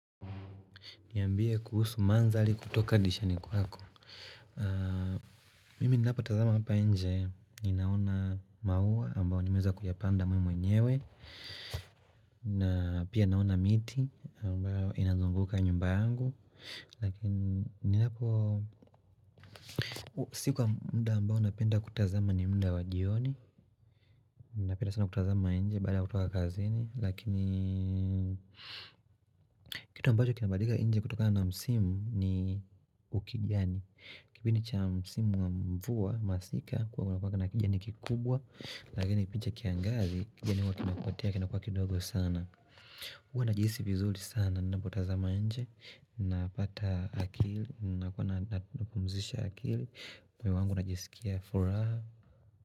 Niambie kuhusu mandhari kutoka dirishani kwako. Mimi ninapo tazama hapa inje, ninaona mauwa ambayo nimeweza kuyapanda mimi mwenyewe. Na pia naona miti ambayo inazunguka nyumba yangu. Lakini ninapo sikuwa muda ambao napenda kutazama ni muda wa jioni. Napenda sana kutazama inje baada kutoka kazini. Lakini kitu ambacho kinabadika inje kutokana msimu ni ukijani. Kipindi cha msimu mvua masika, huwa kunakuwanga na kijani kikubwa Lakini kipindi cha kiangazi, kijani huwa kinapotea, kinakuwa kidogo sana huwa najihisi vizuri sana, ninapotazama inje Napata akili, napumuzisha akili moyo wangu unajisikia furaha.